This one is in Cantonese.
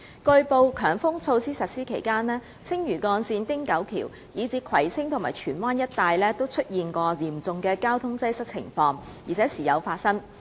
據報，強風措施實施期間，青嶼幹線、汀九橋，以至葵青和荃灣一帶出現嚴重交通擠塞的情況時有發生。